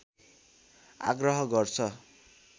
आग्रह गर्छ